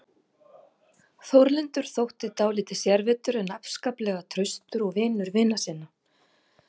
Þórlindur þótti dálítið sérvitur en afskaplega traustur og vinur vina sinna.